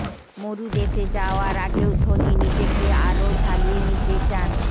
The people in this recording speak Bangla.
মরু দেশে যাওয়ার আগেও ধোনি নিজেকে আরও ঝালিয়ে নিতে চান